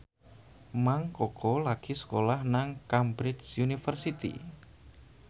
Mang Koko lagi sekolah nang Cambridge University